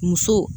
Muso